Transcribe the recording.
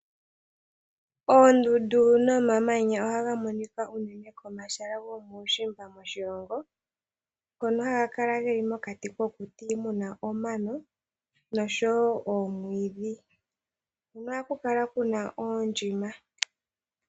Oondundu nomamanya ohaga monika uunene pomahala gokuushimba moshilongo ngoka haga kala ge li mokati kokuti mu na omano nosho wo oomwiidhi. Ohaku kala ku na oondjima.